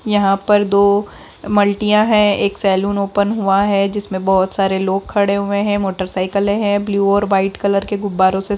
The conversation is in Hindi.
यहाँ पर दो मल्टियाँ हैं एक सैलून ओपन हुआ है जिसमे बहुत सारे लोग खड़े हुए हैं मोटरसाइकिले है ब्लू और वाइट कलर के गुब्बारों से--